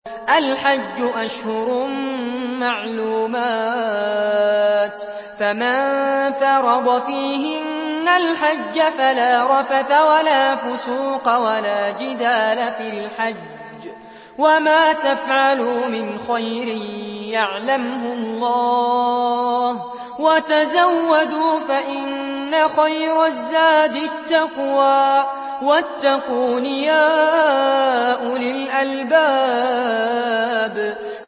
الْحَجُّ أَشْهُرٌ مَّعْلُومَاتٌ ۚ فَمَن فَرَضَ فِيهِنَّ الْحَجَّ فَلَا رَفَثَ وَلَا فُسُوقَ وَلَا جِدَالَ فِي الْحَجِّ ۗ وَمَا تَفْعَلُوا مِنْ خَيْرٍ يَعْلَمْهُ اللَّهُ ۗ وَتَزَوَّدُوا فَإِنَّ خَيْرَ الزَّادِ التَّقْوَىٰ ۚ وَاتَّقُونِ يَا أُولِي الْأَلْبَابِ